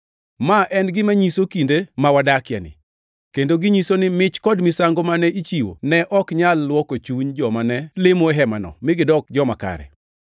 Ma en gima nyiso kinde ma wadakieni, kendo ginyiso ni mich kod misango mane ichiwo ne ok nyal luoko chuny joma ne lemo e hemano mi gidok joma kare.